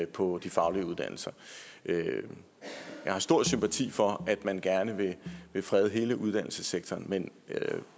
på de faglige uddannelser jeg har stor sympati for at man gerne vil frede hele uddannelsessektoren men